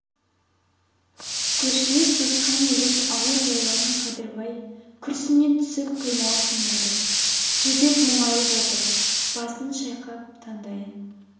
көршілес туысқан елдің ауыр жайларын қадырбай күрсіне түсіп қиналып тыңдады жүдеп мұңайып отыр басын шайқап таңдайын